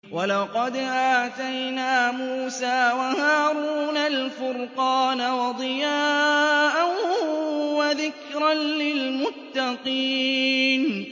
وَلَقَدْ آتَيْنَا مُوسَىٰ وَهَارُونَ الْفُرْقَانَ وَضِيَاءً وَذِكْرًا لِّلْمُتَّقِينَ